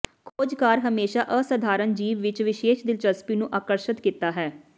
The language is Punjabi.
ਖੋਜਕਾਰ ਹਮੇਸ਼ਾ ਅਸਾਧਾਰਨ ਜੀਵ ਵਿਚ ਵਿਸ਼ੇਸ਼ ਦਿਲਚਸਪੀ ਨੂੰ ਆਕਰਸ਼ਤ ਕੀਤਾ ਹੈ